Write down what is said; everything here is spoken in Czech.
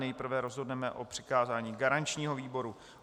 Nejprve rozhodneme o přikázání garančnímu výboru.